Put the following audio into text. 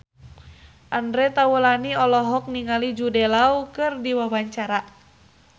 Andre Taulany olohok ningali Jude Law keur diwawancara